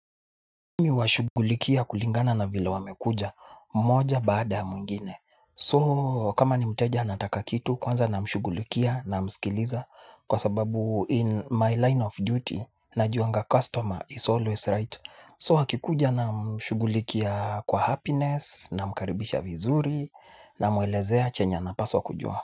Mi huwashugulikia kulingana na vila wamekuja, moja baada ya mwingine. So, kama ni mteja anataka kitu, kwanza namshugulikia namskiliza kwa sababu in my line of duty najuanga customer is always right. So, akikuja namshugulikia kwa happiness namkaribisha vizuri namuelezea chenye anapaswa kujua.